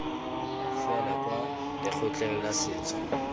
fela kwa lekgotleng la setso